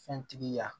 Fɛntigi ye